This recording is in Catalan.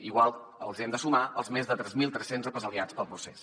igualment hi hem de sumar els més de tres mil tres cents represaliats pel procés